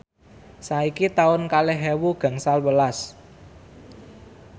saiki taun kalih ewu gangsal welas